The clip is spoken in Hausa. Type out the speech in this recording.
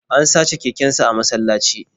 An sace kekensa a masallaci